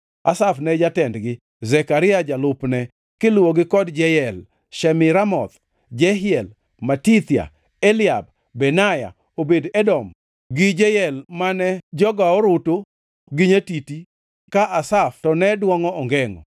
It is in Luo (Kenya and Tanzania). Asaf ne jatendgi, Zekaria jalupne, kiluwogi kod Jeyel, Shemiramoth, Jehiel, Matithia, Eliab, Benaya, Obed-Edom gi Jeyel mane jogo orutu gi nyatiti ka Asaf to ne dwongʼo ongengʼo